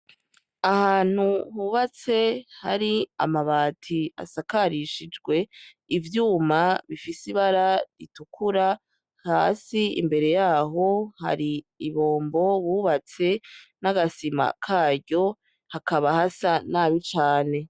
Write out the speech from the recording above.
Ahantu hubatse hari amabati asakarishijwe, ivyuma bifise ibara ritukura, hasi imbere yaho hari ibombo bubatse n'agasima karyo hakaba hasa nabi cane.